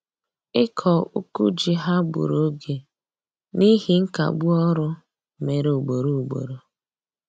Ịkọ uku ji ha gburu oge n'ihi nkagbu ọrụ mere ugboro ugboro